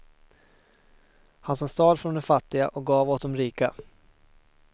Han som stal från de fattiga och gav åt de rika.